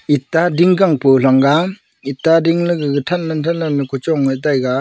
etta ding kang pu thang ga etta ding la thanla thanla luku than taega.